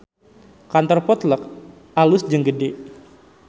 Kantor Potluck alus jeung gede